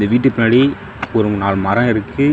இது வீட்டுக்கு பின்னாடி ஒரு நாலு மரம் இருக்கு.